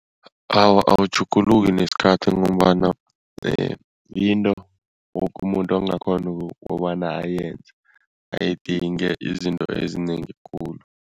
Awa, awutjhuguluki nesikhathi ngombana yinto woke umuntu angakghona kobana ayenze, ayidingi izinto ezinengi khulu.